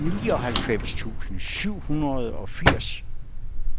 nioghalvfems tusind syv hundrede og firs